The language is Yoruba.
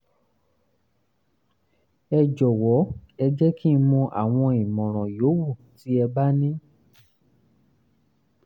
ẹ jọ̀wọ́ ẹ jẹ́ kí n mọ àwọn ìmọ̀ràn yòówù tí ẹ bá ní